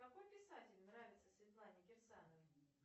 какой писатель нравится светлане кирсановой